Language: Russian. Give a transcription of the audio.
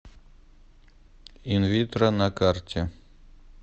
инвитро на карте